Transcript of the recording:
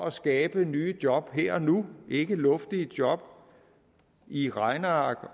at skabe nye job her og nu ikke luftige job i et regneark